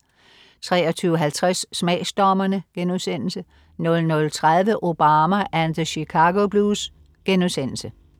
23.50 Smagsdommerne* 00.30 Obama and the Chicago blues*